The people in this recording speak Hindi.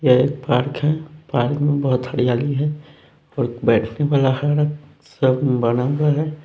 यह एक पार्क हैं पार्क में बहोत हरियाली हैं और बैठने वाला है सब बना हुआ हैं।